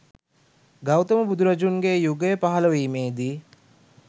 ගෞතම බුදුරජුන්ගේ යුගය පහළ වීමේදී